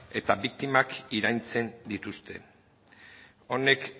eta biktimak iraintzen dituzte hau